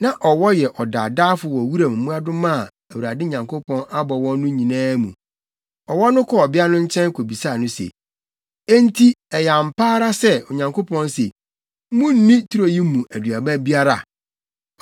Na ɔwɔ yɛ ɔdaadaafo wɔ wuram mmoadoma a Awurade Nyankopɔn abɔ wɔn no nyinaa mu. Ɔwɔ no kɔɔ ɔbea no nkyɛn kobisaa no se, “Enti ɛyɛ ampa ara sɛ, Onyankopɔn se, ‘Munnni turo yi mu aduaba biara?’ ”